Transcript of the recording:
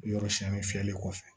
Yɔrɔ siyɛnni filɛli kɔfɛ